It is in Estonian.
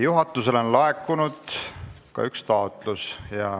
Juhatusele on laekunud üks taotlus.